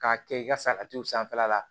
K'a kɛ i ka saga t'o sanfɛla la